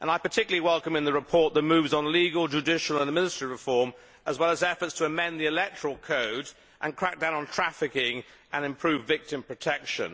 I particularly welcome in the report the moves on legal, judicial and administrative reform, as well as efforts to amend the electoral code, crack down on trafficking and improve victim protection.